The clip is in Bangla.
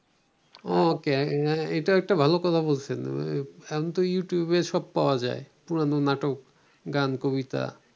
ওকে, এ, এটা একটা ভালো কথা বলছেন, এখনো ইউটিউবে সব পাওয়া যায়। পুরানো নাটক, গান, কবিতা।